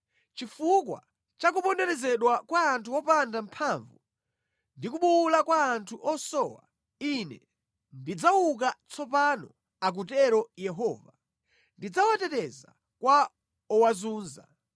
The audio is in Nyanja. “Chifukwa cha kuponderezedwa kwa anthu opanda mphamvu ndi kubuwula kwa anthu osowa, Ine ndidzauka tsopano,” akutero Yehova, “Ndidzawateteza kwa owazunza.”